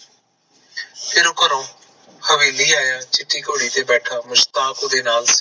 ਤੇਰੇ ਘਰੋਂ ਹਵੇਲੀ ਆਯਾ ਚਿੱਟੀ ਘੋੜੀ ਤੇ ਬੈਠਾ ਮੁਸਤਾਹਕ ਓਦੇ ਨਾਲ ਸੀ ਉਦੋਂ ਮੁਸਤਾਹਕ ਸੀ